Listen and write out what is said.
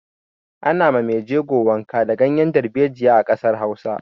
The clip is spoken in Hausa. Ana ma mai jego wanka da ganyar dalbejiya a ƙasar Hausa.